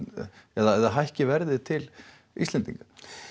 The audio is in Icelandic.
eða hækki verð til Íslendinga